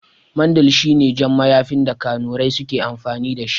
Mandil shine jan mayafin da kanurai suke amfani dashi